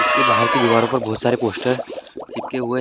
इसके बाहर के दीवारों पे बहुत सारे पोस्टर चिपके हुए है।